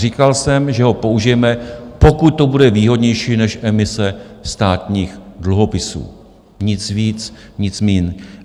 Říkal jsem, že ho použijeme, pokud to bude výhodnější než emise státních dluhopisů, nic víc, nic míň.